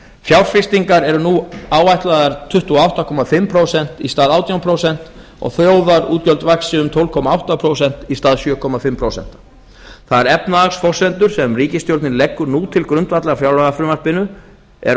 fjárfestingar eru nú áætlaðar tuttugu og átta og hálft prósent í stað átján prósent og þjóðarútgjöld vaxa um tólf komma átta prósent í stað sjö og hálft prósent þær efnahagsforsendur sem ríkisstjórnin leggur nú til grundvallar fjárlagafrumvarpinu er